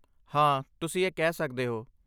ਹਾਂ, ਤੁਸੀਂ ਇਹ ਕਹਿ ਸਕਦੇ ਹੋ।